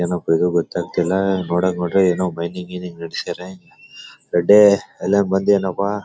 ಏನೋಪ್ಪ ಇದು ಗೊತಾಗ್ತಿಲ್ಲ. ನೋಡೋಕ್ಕೆ ನೋಡಿದ್ರೆ ಏನೋ ಮೈನಿಂಗ್ ಗಿನಿಂಗ್ ನಾಡಸರೇ. ರೆಡ್ಡಿ ಎಲ್ಲ ಮಂದಿ ಏನಪ್ಪಾ.